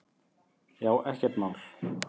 Já, ekkert mál!